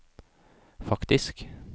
faktisk